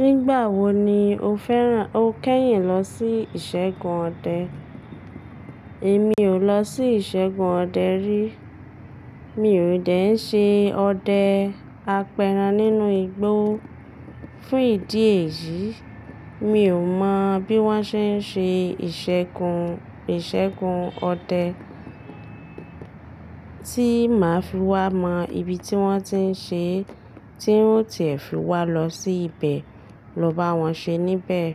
Nígbà wo ni o fẹ́ràn o kẹ́yìn lọ sí ìṣègùn ọdẹ? Èmi ò lọ sí ìṣègùn ọdẹ rí. Mi ò dẹ̀ ń ṣe ọdẹ apẹran nínú igbó. Fún ìdí èyí, mi ò mọ̀ bí wọ́n ṣe ń ṣe ìṣègùn, ìṣègùn ọdẹ tí máa fi wá mọ ibi tí wọ́n ti ń ṣe, tí ń tiẹ̀ fiwá lọ sí ibẹ̀ ló bá wọn ṣe níbẹ̀.